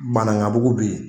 Banankabugu be yen